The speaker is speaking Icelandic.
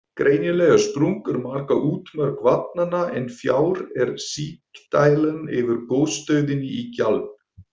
Greinilegar sprungur marka útmörk vatnanna, en fjær er sigdældin yfir gosstöðinni í Gjálp.